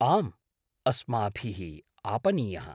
आम्, अस्माभिः आपनीयः।